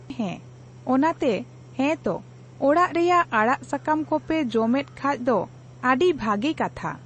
ᱦᱮᱸ ᱚᱱᱟᱛᱮ ᱦᱮᱸᱛᱚ ᱚᱲᱟᱜ ᱨᱮᱭᱟᱜ ᱟᱲᱟᱜ ᱥᱟᱠᱟᱢ ᱠᱚᱯᱮ ᱡᱚᱢᱮᱫ ᱠᱷᱟᱡᱫᱚ ᱟᱰᱤ ᱵᱷᱟᱜᱤ ᱠᱟᱛᱷᱟ ᱾